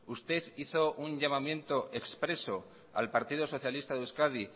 usted hizo un llamamiento expreso al partido socialista de euskadi